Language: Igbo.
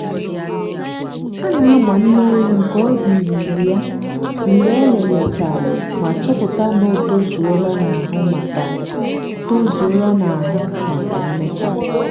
a na-agba nne ewu nke ọ bụ izizi ya mgbe elele chárá ma chọpụta na ọ tozuola n'ahụ maka tozuola n'ahụ maka mmekọ